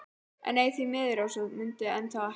En nei, því miður, Rósa mundi enn þá ekkert.